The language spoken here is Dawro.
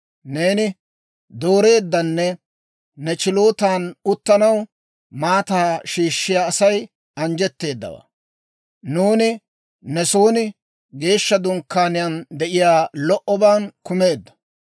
Neeni dooreeddanne ne chilootan uttanaw mataa shiishshiyaa Asay anjjetteeddawaa. Nuuni ne son, Geeshsha Dunkkaaniyaan de'iyaa lo"oban kumeeddo.